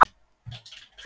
Er partýið virkilega búið?